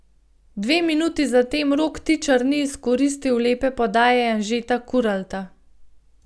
Dve minuti zatem Rok Tičar ni izkoristil lepe podaje Anžeta Kuralta.